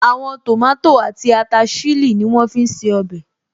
Àwọn tòmátò àti ata ṣílì ní wọ́n fí n ṣe ọbẹ̀